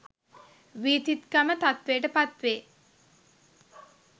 වීතික්කම තත්ත්වයට පත්වේ